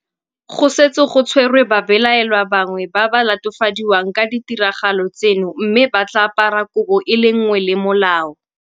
Go setse go tshwerwe babelaelwa bangwe ba ba latofadiwang ka ditiragalo tseno mme ba tla apara kobo e le nngwe le molao.